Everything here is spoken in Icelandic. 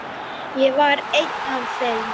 Ég var einn af þeim.